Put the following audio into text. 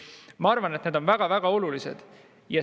Ma arvan, et see on väga-väga oluline.